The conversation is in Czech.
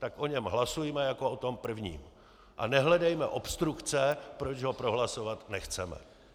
Tak o něm hlasujme jako o tom prvním a nehledejme obstrukce, proč ho prohlasovat nechceme.